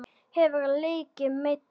Hefurðu leikið meiddur?